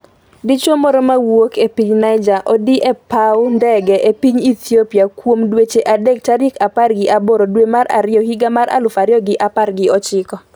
Dichuo moro mawuok e piny Niger odiine e paw ndege e piny Ethiopia kuom dweche adek tarik apar gi aboro dwe mar ariyo higa mar aluf ariyo gi apar gi ochiko